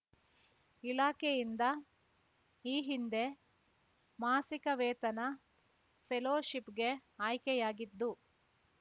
ಇಲಾಖೆಯಿಂದ ಈ ಹಿಂದೆ ಮಾಸಿಕ ವೇತನ ಫೆಲೋಶಿಪ್‌ಗೆ ಆಯ್ಕೆಯಾಗಿದ್ದು